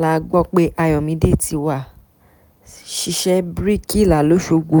la gbọ́ pé ayọ̀mídé ti wá ṣiṣẹ́ bíríkìlà lọ́sogbó